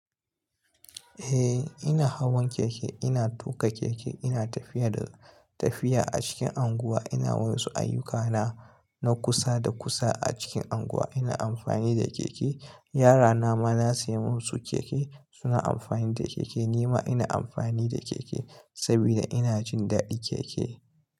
Eh ina hawan keke, ina tuka keke, ina tafiya da tafiya a cikin anguwa, ina wa su ayyukana na kusa da kusa a cikin unguwa. Ina amfani da keke. Yara nama na siya musu keke suna amfani da keke. Nima ina amfani da keke saboda ina jin daɗin keke.